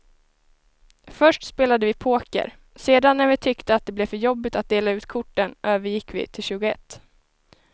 Först spelade vi poker, sedan när vi tyckte att det blev för jobbigt att dela ut korten övergick vi till tjugoett.